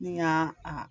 Ni y'a a